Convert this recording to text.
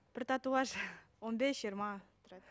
бір татуаж он бес жиырма тұрады